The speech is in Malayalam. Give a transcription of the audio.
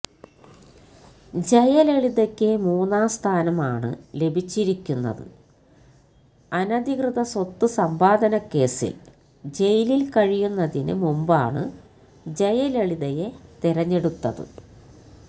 ജയലളിതയക്ക് മൂന്നാം സ്ഥാനം ആണ് ലഭിച്ചിരിക്കുന്നത് അനധികൃത സ്വത്ത് സമ്പാദനക്കേസിൽ ജയിലിൽ കഴിയുന്നതിന് മുമ്പാണ് ജയലളിതയെ തിരഞ്ഞെടുത്തത്